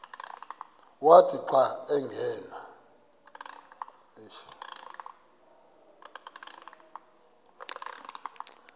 wathi xa angena